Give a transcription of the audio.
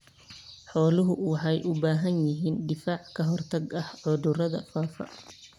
Xooluhu waxay u baahan yihiin difaac ka hortagga cudurrada faafa.